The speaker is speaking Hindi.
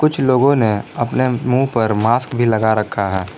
कुछ लोगों ने अपने मुंह पर मास्क भी लगा रखा है।